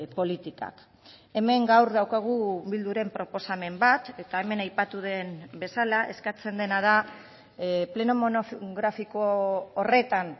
politikak hemen gaur daukagu bilduren proposamen bat eta hemen aipatu den bezala eskatzen dena da pleno monografiko horretan